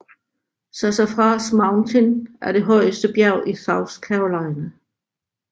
Sassafras Mountain er det højeste bjerg i South Carolina